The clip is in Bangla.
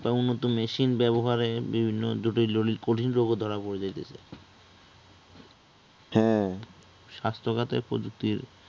উন্নত machine ব্যবহারে বিভিন্ন জটিল জটিল কঠিন রোগও ধরা পরে যাইতেছে হ্যাঁ, স্বাস্থ্যখাতের প্রযুক্তির